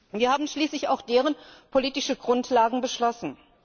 Wir haben schließlich auch deren politischen Grundlagen beschlossen.